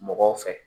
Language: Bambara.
Mɔgɔw fɛ